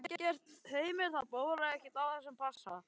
Heimir, það bólar ekkert enn á þessum passa?